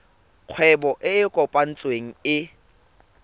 kgwebo e e kopetsweng e